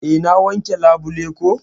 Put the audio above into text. Eh na wanke labule ko.